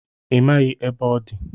Ị maghị ebe ọ dị